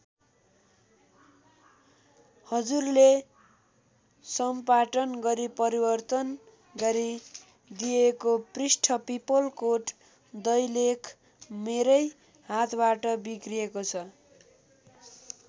हजुरले सम्पाटन गरी परिवर्तन गरी दिएको पृष्ठ पीपलकोट दैलेख मेरै हातबाट बिग्रिएको छ।